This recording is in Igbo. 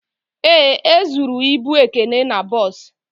Ee, e zụrụ ịbụ Ekene n'bos